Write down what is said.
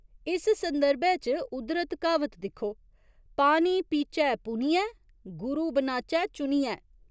इस संदर्भै च उद्धरत क्हावत दिक्खो पानी पीचै पुनियै, गुरु बनाचै चुनियै।